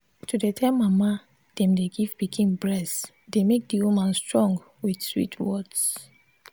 to dey tell mama them dey give pikin breast dey make the women strong with sweet words.